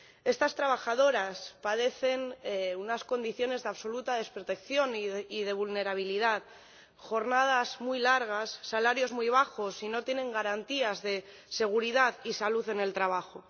Estas trabajadoras padecen unas condiciones de absoluta desprotección y de vulnerabilidad jornadas muy largas, salarios muy bajos, y no tienen garantías de seguridad y salud en el trabajo.